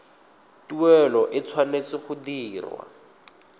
tuelo e tshwanetse go dirwa